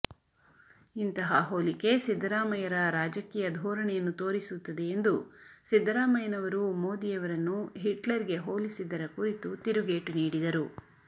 ಇಂತಹ ಹೋಲಿಕೆ ಸಿದ್ದರಾಮಯ್ಯರ ರಾಜಕೀಯ ಧೋರಣೆಯನ್ನು ತೋರಿಸುತ್ತದೆ ಎಂದು ಸಿದ್ದರಾಮಯ್ಯನವರು ಮೋದಿಯವರನ್ನು ಹಿಟ್ಲರ್ಗೆ ಹೋಲಿಸಿದ್ದರ ಕುರಿತು ತಿರುಗೇಟು ನೀಡಿದರು